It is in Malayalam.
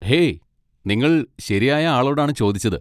ഹേയ്, നിങ്ങൾ ശരിയായ ആളോടാണ് ചോദിച്ചത്.